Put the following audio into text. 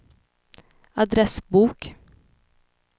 adressbok